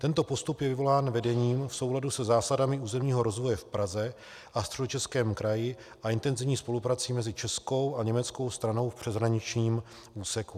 Tento postup je vyvolán vedením v souladu se zásadami územního rozvoje v Praze a Středočeském kraji a intenzivní spoluprací mezi českou a německou stranou v přeshraničním úseku.